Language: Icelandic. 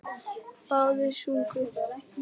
Báðir sungu.